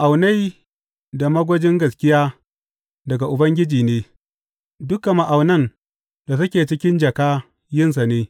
Ma’aunai da magwajin gaskiya daga Ubangiji ne; dukan ma’aunai da suke cikin jaka yinsa ne.